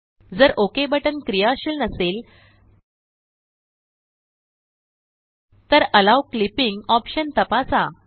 जर OK button क्रियाशील नसेल तर एलो क्लिपिंग ऑप्शन तपासा